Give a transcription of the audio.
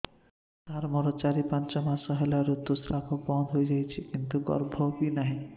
ସାର ମୋର ଚାରି ପାଞ୍ଚ ମାସ ହେଲା ଋତୁସ୍ରାବ ବନ୍ଦ ହେଇଯାଇଛି କିନ୍ତୁ ଗର୍ଭ ବି ନାହିଁ